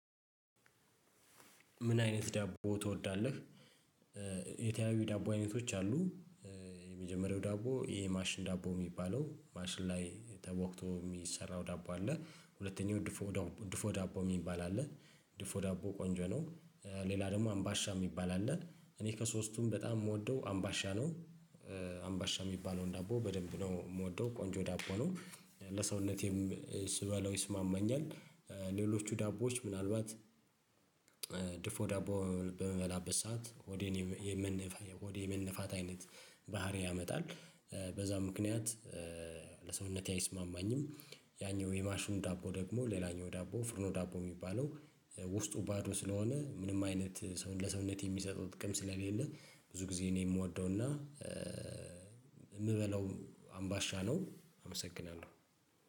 ምን አይነት ዳቦ ትወዳለህ? የተለያዩ ዳቦ አይነቶች አሉ የመጀመሪያው ዳቦ ይሄ ማሽን ዳቦ የሚባለው ማሽን ላይ ተቦክቶ የሚሰራው ዳቦ አለ። ሁለተኛው ድፎ ዳቦ የሚባል አለ ድፎ ዳቦ ቆንጆ ነው። ሌላ ደግሞ አምባሻ የሚባል አለ። እኔ ከሶስቱም በጣም የምወደው አምባሻ ነው። አምባሻ የሚባለውን ዳቦ በደንብ ነው የምወደው ቆንጆ ዳቦ ነው። ለሰውነቴም ስበላው ይስማማኛል። ሌሎቹ ዳቦዎች ምናልባት ዳቦ በምበላበት ሰዓት ሆዴ የመነፋት አይነት ባህሪ ያመጣል በዛ ምክንያት ለሰውነቴ አይስማማኝም። ያኛው የማሹን ዳቦ ደግሞ ሌላኛው ዳቦ ፍርኖ ዳቦ የሚባለው ውስጡ ባዶ ስለሆነ ምንም አይነት ሰው ለሰውነት የሚሰጠው ጥቅም ስለሌለ ብዙ ጊዜ እኔ የምወደው እና የምበለው አምባሻ ነው አመሰግናለሁ